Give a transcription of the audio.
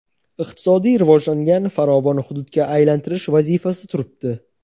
iqtisodiy rivojlangan farovon hududga aylantirish vazifasi turibdi.